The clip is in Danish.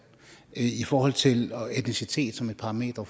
i forhold til etnicitet som et parameter